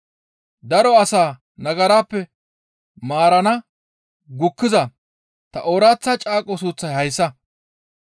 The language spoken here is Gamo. daro asaa nagarappe maarana gukkiza ta ooraththa caaqo suuththay hayssa.